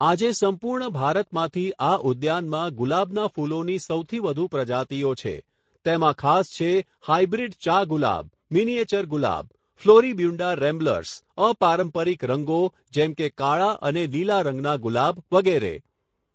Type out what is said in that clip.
આજે સંપૂર્ણ ભારતમાંથી આ ઉદ્યાનમાં ગુલાબના ફૂલોની સૌથી વધુ પ્રજાતિઓ છે તેમાં ખાસ છે હાયબ્રીડ ચા ગુલાબ, મીનીએચર ગુલાબ, ફ્લોરીબ્યુંડા રેમ્બલર્સ, અપારંપારિક રંગો જેમ કે કાળા અને લીલા રંગના ગુલાબ વગેરે.